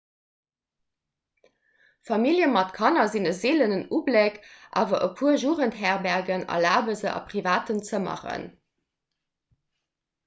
famillje mat kanner sinn e seelenen ubléck awer e puer jugendherbergen erlabe se a privaten zëmmeren